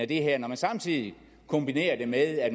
det her når man samtidig kombinerer det med at